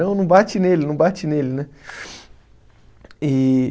Não, não bate nele, não bate nele, né?